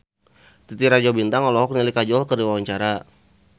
Titi Rajo Bintang olohok ningali Kajol keur diwawancara